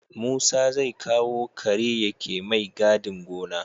Musa zai kawo kare yake mai gadin gona